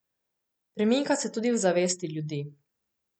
Premika se tudi v zavesti ljudi.